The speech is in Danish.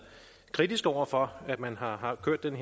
kritiske over for at man har har kørt denne